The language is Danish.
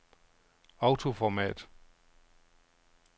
autoformat